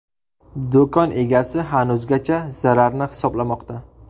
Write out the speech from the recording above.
Do‘kon egasi hanuzgacha zararni hisoblamoqda.